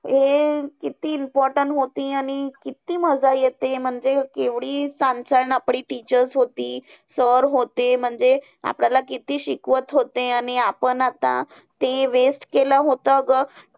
हम्म ते किती important होती, आणि किती मजा येते. म्हणजे केवढी छान छान आपली teachers होती, sir होते. म्हणजे आपल्याला किती शिकवत होते आणि आपण आता ते waste केलं होतं ग.